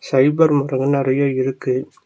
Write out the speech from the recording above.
Fibre route வந்து நெறைய இருக்கு.